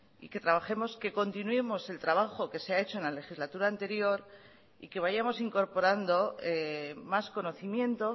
y que trabajemos que continuemos el trabajo que se ha hecho en la legislatura anterior y que vayamos incorporando más conocimiento